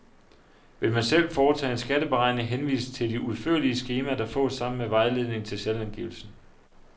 Vil man selv foretage en skatteberegning henvises til de udførlige skemaer, der fås sammen med vejledning til selvangivelsen.